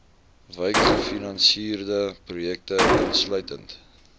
wykgefinansierde projekte insluitend